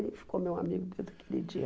Ele ficou meu amigo desde aquele dia.